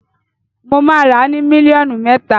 Mo máa ràá ni mílíọ̀nù mẹ́ta.